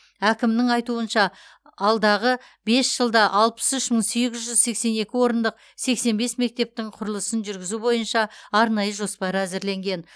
әкімнің айтуынша алдағы бес жылда алпыс үш мың сегіз жүз сексен екі орындық сексен бес мектептің құрылысын жүргізу бойынша арнайы жоспар әзірленген